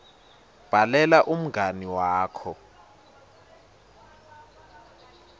bhalela umngani wakho